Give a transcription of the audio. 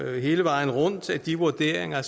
hele vejen rundt at de vurderinger